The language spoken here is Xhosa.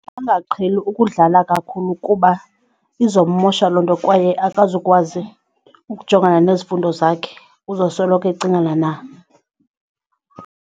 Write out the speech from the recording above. Angaqheli ukudlala kakhulu kuba izommosha loo nto kwaye akazukwazi ukujongana nezifundo zakhe uzosoloko ecingana na.